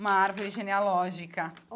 Uma árvore genealógica.